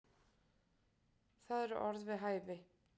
Það eru orð við hæfi.